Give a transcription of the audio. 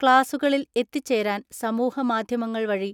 ക്ലാസുകളിൽ എത്തിച്ചേരാൻ സമൂഹ മാധ്യമങ്ങൾ വഴി